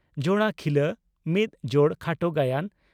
"ᱡᱚᱲᱟ ᱠᱷᱤᱞᱟᱹ" (ᱢᱤᱫ ᱡᱚᱲ ᱠᱷᱟᱴᱚ ᱜᱟᱭᱟᱱ)